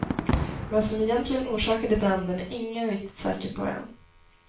Vad som egentligen orsakade branden är ingen riktigt säker på än.